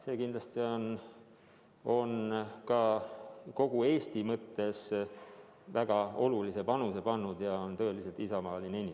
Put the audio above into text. See kindlasti on ka kogu Eesti jaoks väga olulise panuse andnud ja on tõeliselt isamaaline tegevus.